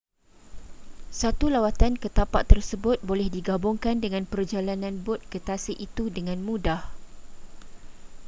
satu lawatan ke tapak tersebut boleh digabungkan dengan perjalanan bot ke tasik itu dengan mudah